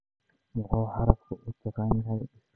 Muxuu xarafku u taagan yahay isla'egta?